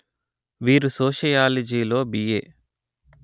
వీరు సోషియాలిజిలో బిఎ